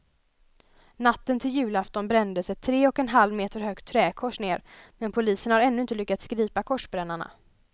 Natten till julafton brändes ett tre och en halv meter högt träkors ned, men polisen har ännu inte lyckats gripa korsbrännarna.